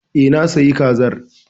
E, na sayi Kazar.